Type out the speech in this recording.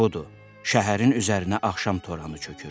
Budu, şəhərin üzərinə axşam toranı çökür.